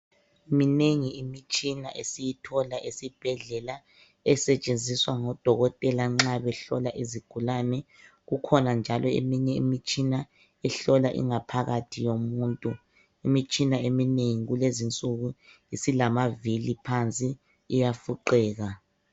Minengi imitshina esiyithola esibhedlela esetshenziswa ngo dokotela nxa behlola izigulane. Kukhona njalo eminye imitshina ehlola ingaphakathi yomuntu. Imitshina eminengi kulezi insuku isilamavili phansi iyafuqeka.